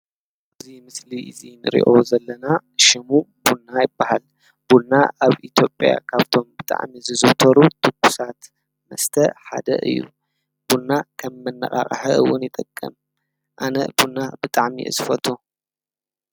ኣብዚ ምስሊ እዚ ንሪኦ ዘለና ሽሙ ቡና ይባሃል፡፡ ቡና ኣብ ኢትዮጵያ ካብቶም ብጣዕሚ ዝዝውተሩ ትኩሳት መስተ ሓደ እዩ፡፡ ቡና ከም መነቓቕሒ እውን ይጠቅም እዩ፡፡ ኣነ ቡና ብጣዕሚ እየ ዝፈትው፡፡